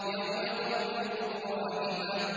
يَوْمَ تَرْجُفُ الرَّاجِفَةُ